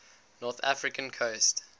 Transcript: north african coast